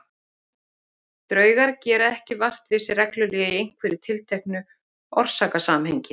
Draugar gera ekki vart við sig reglulega í einhverju tilteknu orsakasamhengi.